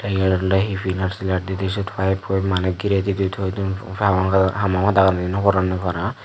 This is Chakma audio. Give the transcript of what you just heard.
eyan ole he Pilar silar di di sot pipeppoi mane gire di di toi dun hamadagani no poronnoi para.